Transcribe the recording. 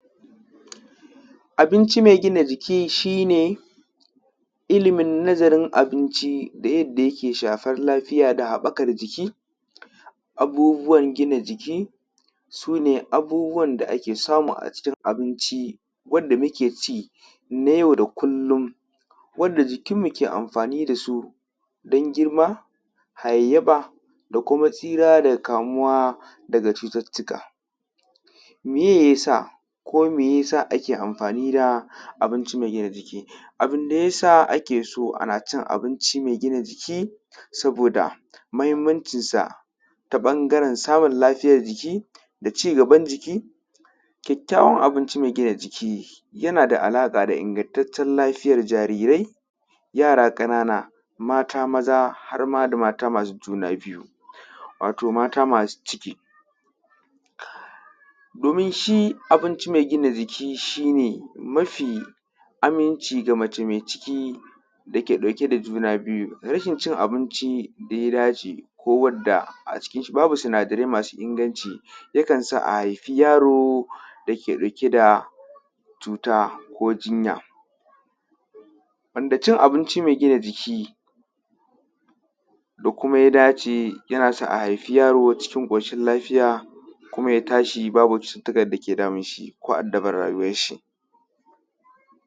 Abinci me gina jiki shi ne ilimin nazarin abinci da yadda yaƙe shafan lafiya da habakar jiki. Abubuwan gina jiki su ne abubuwan da ke samu a cikin abinci wadda muke ci na yau da kulum wanda jikin mu ke amfani da su wadda jikinmu ke amfani da su don girma, hayayfa, da kuma tsira daga kamuwa daga cututtuka meye ya sa ko me ya sa ake amfani da abinci me gina jiki, abin da ya sa ake so ana cin abinci me gina jiki saboda mahinmancinsa taɓangaren samun lafiyan da jiki da ci gaban jiki. Kyakayawan abinci me gina jiki yana da alaka da ingatattaciyar lafiyatr jarirai, yara ƙanana, mata maza har da ma mata masu juna biyu wato mata masu ciki. Domin shi abinci me gina jiki shi ne mafi aminci ga mace me ciki da ke ɗauke da juna biyu, rashin cin abinci da ya dace ko wadda a cikin shi babu sinadarai masu inganci yakansa a haifi yaro da ke ɗauke da cuta go jinya wanda cin abinci me gina jiki da kuma ya dace yana sa a haifi yaro cikin ƙoshin lafiya kuma ya tashi babu cututtukan dake damun shi ko addabar rayuwan shi.